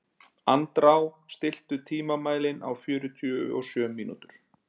Andrá, stilltu tímamælinn á fjörutíu og sjö mínútur.